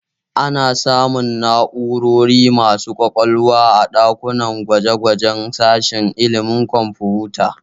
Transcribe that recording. Ana samun na'urori masu ƙwaƙwalwa a ɗakunan gwaje-gwajen sashen ilimin kwamfuta